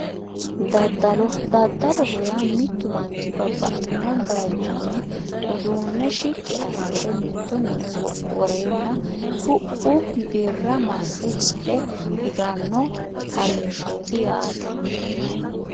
Daddalo daddaloho yaa mittu manchi babbaxxino baychinni uduunne shiqqi assire mitto mine woreenna ku'u birra masse hidhe higanno harinshooti yaatr